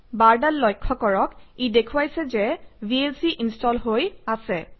বাৰডাল লক্ষ্য কৰক ই দেখুৱাইছে যে ভিএলচি ইনষ্টল হৈ আছে